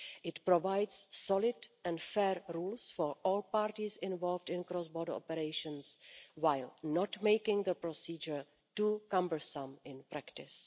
It provides solid and fair rules for all parties involved in cross border operations, while not making the procedure too cumbersome in practice.